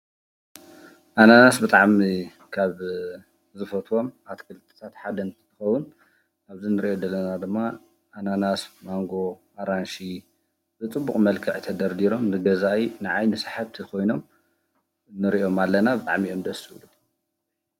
ኣናና ብጣዕሚ ካብ ዝፈትዎም ኣትክልትታት ሓደ እንትኸውን ኣብዚ ንሪኦ ዘለና ድማ ኣናናስ፣ ማንጎ፣ ኣራንሺ ብፅቡቕ መልክዕ ተደርዲሮም ንገዛኢ ንዓይኒ ስሓብቲ ኮይኖም ንሪኦም ኣለና ብጣዕሚ እዮም ደስ ዝብሉ።